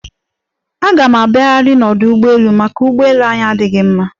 Aga m abiaghiarị n'ọdụ ụgbọelu, maka ụgbọelu anyị adịghị mma.